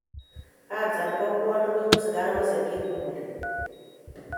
Kansa nebo bwonik koibu sigarosiek che kikule